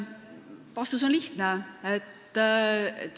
Vastus on lihtne.